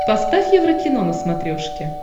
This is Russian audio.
поставь еврокино на смотрешке